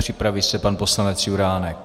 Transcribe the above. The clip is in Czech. Připraví se pan poslanec Juránek.